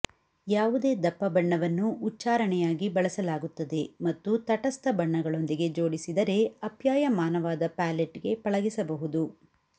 ಯಾವುದೇ ದಪ್ಪ ಬಣ್ಣವನ್ನು ಉಚ್ಚಾರಣೆಯಾಗಿ ಬಳಸಲಾಗುತ್ತದೆ ಮತ್ತು ತಟಸ್ಥ ಬಣ್ಣಗಳೊಂದಿಗೆ ಜೋಡಿಸಿದರೆ ಆಪ್ಯಾಯಮಾನವಾದ ಪ್ಯಾಲೆಟ್ಗೆ ಪಳಗಿಸಬಹುದು